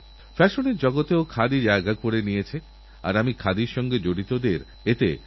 এক যুবক শ্রীমান অঙ্কিত আমাকেরাষ্ট্রপতি আব্দুল কালামজীর মৃত্যুবার্ষিকী স্মরণ করিয়ে দিয়েছেন